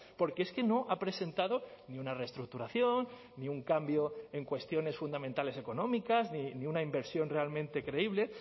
porque es que no ha presentado ni una reestructuración ni un cambio en cuestiones fundamentales económicas ni una inversión realmente creíble